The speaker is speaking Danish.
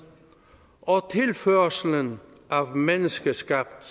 og tilførslen af menneskeskabt